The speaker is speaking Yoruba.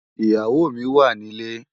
Iyáwó mi wá nilé